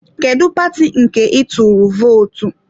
Kedụ paati nke ị tụrụ vootu?